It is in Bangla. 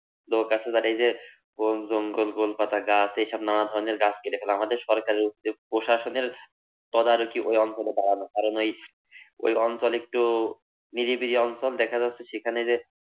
লোক আছে যারা এই যে, বন জঞ্জল, গোলপাতা গাছ এসব নানা ধরনের গাছ কেটে ফেলা। আমাদের সরকারের উচিৎ প্রশাসনের তদারকি ঐ অঞ্চলে বাড়ানো। কারন ঐ ঐ অঞ্চল একটু নিরিবিলি অঞ্চল, দেখা যাচ্ছে সেখানে যে